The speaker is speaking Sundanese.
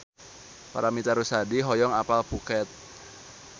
Paramitha Rusady hoyong apal Phuket